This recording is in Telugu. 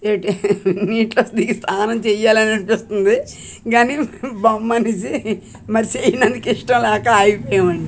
యేటి నీటిలో దిగి స్థానం చెయ్యాలననిపిస్తుంది గని బ మనిషి మరి సేయ్ననికి ఇష్టం లేక ఆగిపోయామండి.